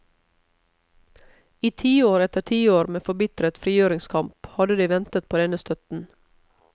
I tiår etter tiår med forbitret frigjøringskamp hadde de ventet på denne støtten.